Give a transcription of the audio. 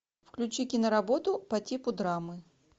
включи киноработу по типу драмы